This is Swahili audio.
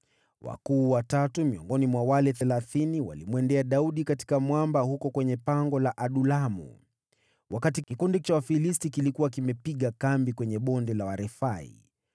Wakuu watatu miongoni mwa wale thelathini, walimwendea Daudi katika mwamba huko kwenye pango la Adulamu, wakati kikundi cha Wafilisti kilikuwa kimepiga kambi katika Bonde la Warefai.